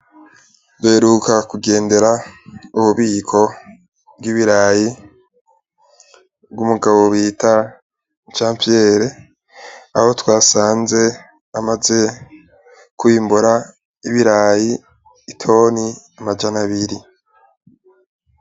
Duheruka kugendera ububiko bw'ibiraya, bw'umugabo bita Yohani Piyeri, aho twasanze amaze kwimbura ibiraya itoni amajana abiri.